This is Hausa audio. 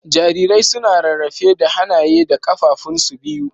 Jarirai suna rarrafe da hanaye da kafafun su biyu.